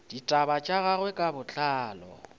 ditaba tša gagwe ka botlalo